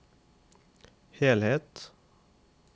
helhet